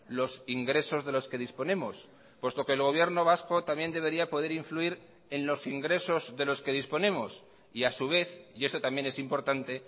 los ingresos de los que disponemos puesto que el gobierno vasco también debería poder influir en los ingresos de los que disponemos y a su vez y esto también es importante